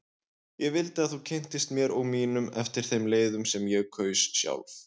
Ég vildi að þú kynntist mér og mínum eftir þeim leiðum sem ég kaus sjálf.